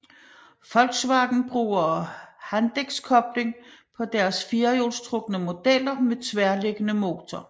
Volkswagen bruger Haldexkobling på deres firehjulstrukne modeller med tværliggende motor